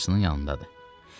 Yəqin bacısının yanındadır.